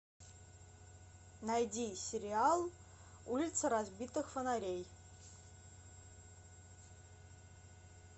найди сериал улица разбитых фонарей